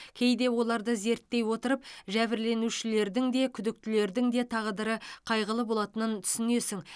кейде оларды зерттей отырып жәбірленушілердің де күдіктілердің де тағдыры қайғылы болатынын түсінесің